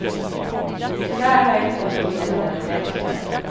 Tyvärr har jag inte hunnit gå igenom den ordentligt än.